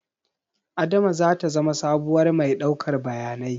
Adama zata zama sabuwar mai ɗaukar bayanai